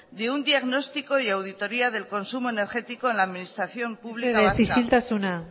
de un diagnóstico y auditoria del consumo energético en la administración pública vasca